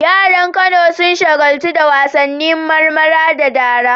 Yaran Kano sun shagaltu da wasannin marmara da dara.